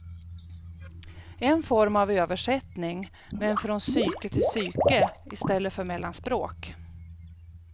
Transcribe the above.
En form av översättning, men från psyke till psyke istället för mellan språk.